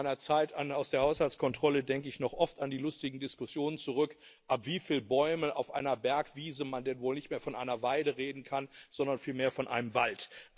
Aus meiner Zeit aus der Haushaltskontrolle denke ich noch oft an die lustigen Diskussionen zurück, ab wieviel Bäumen auf einer Bergwiese man denn wohl nicht mehr von einer Weide reden kann, sondern vielmehr von einem Wald.